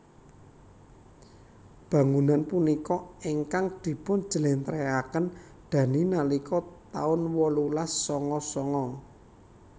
Bangunan punika ingkang dipun jlentrehaken Dhani nalika taun wolulas sanga sanga